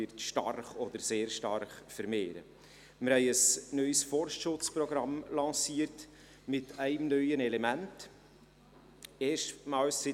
Wir haben ein neues Forstschutzprogramm mit einem neuen Element lanciert.